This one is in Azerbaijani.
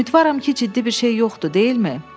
Ümidvaram ki, ciddi bir şey yoxdur, deyilmi?